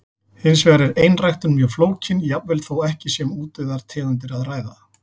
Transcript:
Hins vegar er einræktun mjög flókin, jafnvel þó ekki sé um útdauðar tegundir að ræða.